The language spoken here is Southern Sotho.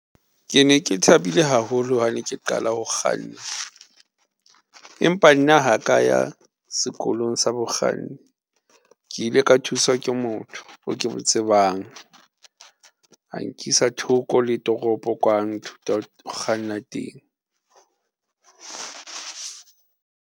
Ke ne ke thabile haholo ha ne ke qala ho kganna, empa nna ha ka ya sekolong sa bokganni. Ke ile ka thuswa ke motho o ke mo tsebang a nkisa thoko le toropo kwa a nthuta ho kganna teng.